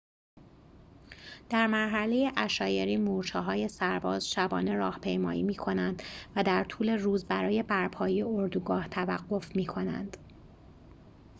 در مرحله عشایری مورچه‌های سرباز شبانه راهپیمایی می‌کنند و در طول روز برای برپایی اردوگاه توقف می‌کنند